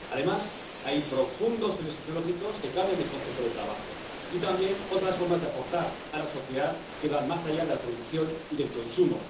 Además, hay profundos cambios tecnológicos que cambian el concepto de trabajo, y también otras formas de aportar a la sociedad que van más allá de la producción y del consumo.